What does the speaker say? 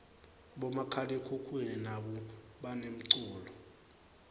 bomakhalekhukhwini nabo banemculo